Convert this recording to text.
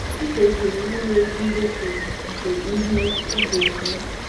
Ị kwesịrị inwe ndetu nke ihe ị ga-eme.